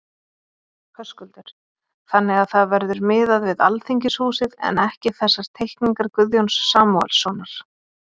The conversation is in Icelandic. Höskuldur: Þannig að það verður miðað við Alþingishúsið en ekki þessar teikningar Guðjóns Samúelssonar?